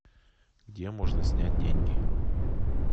где можно снять деньги